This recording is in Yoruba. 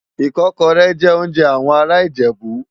Ikòkòrè jè óonjè áwòn àrá Ijebu